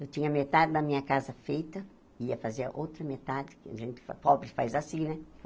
Eu tinha metade da minha casa feita, ia fazer a outra metade, que a gente pobre faz assim, né?